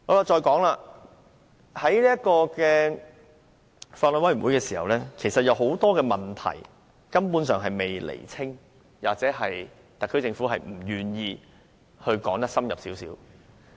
在法案委員會的討論中，多個問題根本尚未釐清，或特區政府不願意更深入論述。